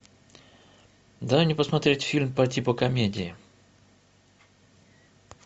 дай мне посмотреть фильм по типу комедии